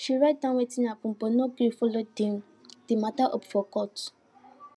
she write down wetin happen but no gree follow de de mata up for court